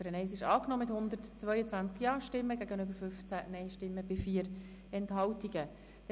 Die Ziffer 1 wurde mit 122 Ja-, 15 Nein-Stimmen bei 4 Enthaltungen angenommen.